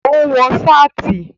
Ó ń wọ sáàtì